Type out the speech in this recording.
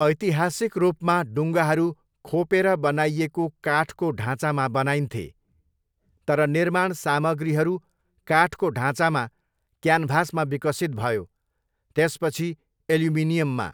ऐतिहासिक रूपमा, डुङ्गाहरू खोपेर बनाइएको काठको ढाँचामा बनाइन्थे, तर निर्माण सामग्रीहरू काठको ढाँचामा क्यानभासमा विकसित भयो, त्यसपछि एल्युमिनियममा।